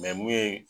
mun ye